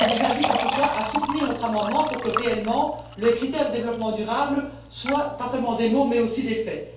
Je vous invite en tout cas à soutenir notre amendement pour qu'effectivement, les critères de développement durable ne soient pas seulement des mots mais aussi des faits.